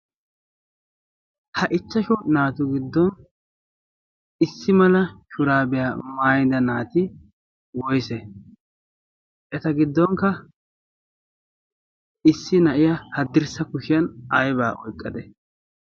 Ha ichchashu naatu giddon issi mala shuraabiyaa maayida naati woyssee? Eta giddonkka issi na7iya haddirssa kushiyan aybba oyqqadde?